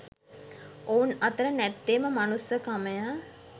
ඔවුන් අතර නැත්තේම මනුස්සකම ය